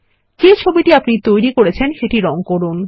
যে ছবিটি আপনি তৈরি করেছেন সেটি রঙ করুন